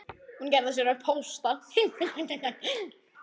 Hún gerði sér upp hósta.